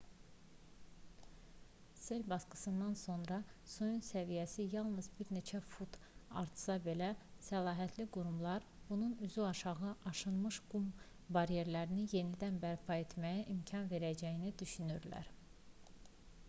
sel basqınından sonra suyun səviyyəsi yalnız bir neçə fut artsa belə səlahiyyətli qurumlar bunun üzüaşağı aşınmış qum baryerlərini yenidən bərpa etməyə imkan verəcəyini düşünürlər